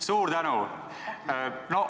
Suur tänu!